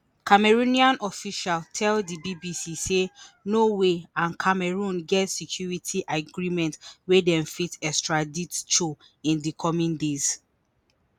Cameroonian official tell di BBC say Norway and Cameroon get security agreement wey dem fit extradite Cho in di coming days